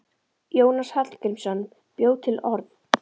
Jónas Hallgrímsson bjó til orð.